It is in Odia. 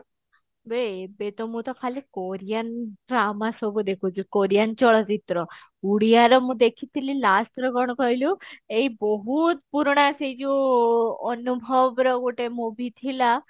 ବେ ଏବେ ତ ମୁଁ ତ ଖାଲି korean drama ସବୁ ଦେଖୁଛି Korean ଚଳଚିତ୍ର ଉଡିଆ ର ମୁଁ ଦେଖିଥିଲି last ଥର କଣ କହିଲୁ ଏଇ ବହୁତ ପୁରୁଣା ସେଇ ଯୋଉ ଅନୁଭବର ଗୋଟେ movie ଥିଲା